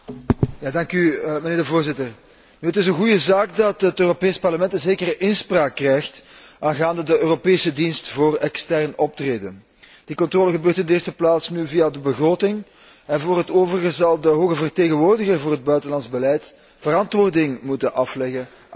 Mijnheer de Voorzitter, het is een goede zaak dat het Europees Parlement een zekere inspraak krijgt aangaande de Europese dienst voor extern optreden. De controle gebeurt in de eerste plaats nu via de begroting en voor het overige zal de hoge vertegenwoordiger voor het buitenlands beleid verantwoording moeten afleggen aan het Parlement.